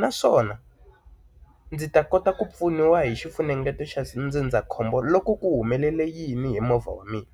Naswona ndzi ta kota ku pfuniwa hi xifunengeto xa ndzindzakhombo loko ku humelela yini hi movha wa mina?